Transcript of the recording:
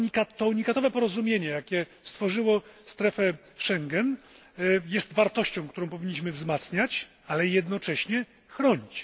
To unikatowe porozumienie, jakie stworzyło strefę Schengen, jest wartością, którą powinniśmy wzmacniać, ale jednocześnie chronić.